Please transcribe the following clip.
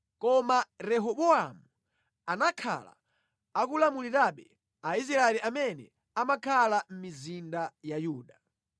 Koma Rehobowamu anakhala akulamulirabe Aisraeli amene amakhala mʼmizinda ya Yuda.